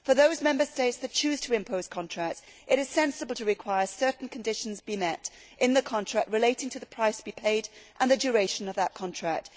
For those Member States that choose to impose contracts, it is sensible to require certain conditions to be met relating to the price to be paid and the duration of the contract.